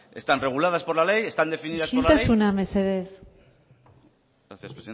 están reguladas por la ley están definidas por la ley isiltasuna mesedez gracias